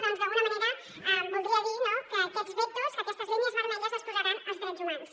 doncs d’alguna manera voldria dir no que aquests vetos que aquestes línies vermelles les posaran els drets humans